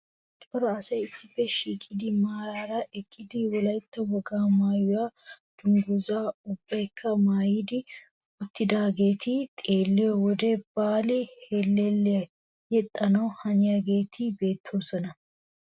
Cora asay issippe shiiqidi maaraara eqqidi wolaytta wogaa maayuwa dungguzzaa ubbaykka maaydi uttidaageeti xeelliyo wode baali hellelliya yexxana haniyageeti beettoosona.